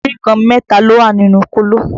Múrí kan mẹ́ta ló wà nínú kóló